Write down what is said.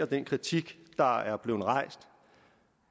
den kritik der er blevet rejst